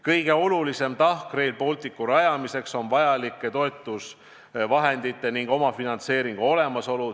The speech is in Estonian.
Kõige olulisem tahk Rail Balticu rajamisel on vajalike toetusvahendite ning omafinantseeringu olemasolu.